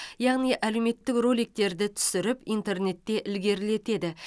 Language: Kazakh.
яғни әлеуметтік роликтерді түсіріп интернетте ілгерілетеді